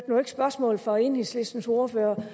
hørte spørgsmålet fra enhedslistens ordfører